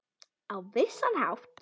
Á vissan hátt.